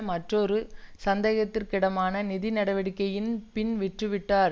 மற்றொரு சந்தேகத்திற்கிடமான நிதி நடவடிக்கையின் பின் விற்று விட்டார்